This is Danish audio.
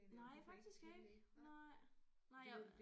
Nej faktisk ikke nej nej jeg